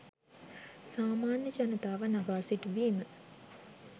සාමාන්‍ය ජනතාව නගා සිටුවීම